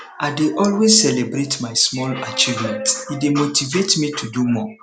i dey always celebrate my small achievements e dey motivate me to do more